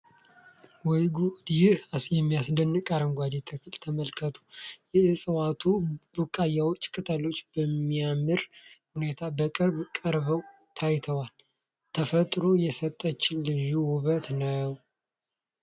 ወይ ጉድ! ይህን የሚያስደንቅ አረንጓዴ ተክል ተመልከቱ! የዕፅዋቱ ቡቃያዎችና ቅጠሎች በሚያምር ሁኔታ በቅርብ ቀርበው ታይተዋል! ተፈጥሮ የሰጠችን ልዩ ውበት ነው!